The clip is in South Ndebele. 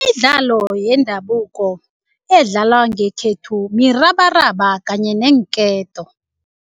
Imidlalo yendabuko edlalwa ngekhethu mirabaraba kanye neenketo.